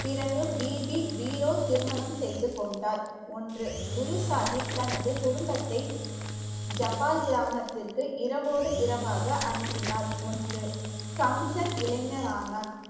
பிறகு பீவி வீரோ திருமணம் செய்து கொண்டார் ஒன்று குரு சாஹிப் தனது குடும்பத்தை ஜபால் கிராமத்துக்கு இரவோடு இரவாக அனுப்பினார் ஒன்று கம்சன் இளைஞரானார்.